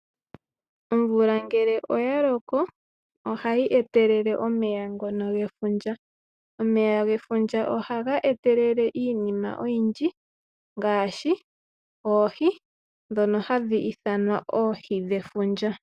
Omvula ngele oyaloko ohayi etelele omeya ngono gefundja. Omeya gefundja ohaga etelele iinima oyindji ngaashi oohi, ndhono hadhi ithanwa oohi dhefundja.